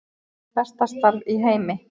Besta starf í heimi